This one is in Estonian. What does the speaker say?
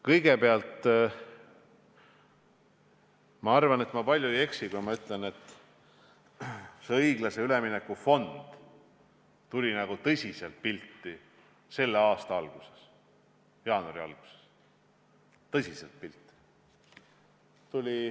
Kõigepealt, ma arvan, et ma palju ei eksi, kui ütlen, et õiglase ülemineku fond tuli tõsiselt pildile selle aasta alguses, jaanuari alguses.